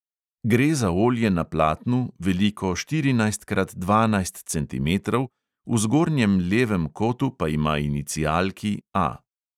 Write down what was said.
Gre za olje na platnu, veliko štirinajst krat dvanajst centimetrov, v zgornjem levem kotu pa ima inicialki A.